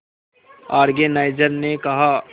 organiser ने कहा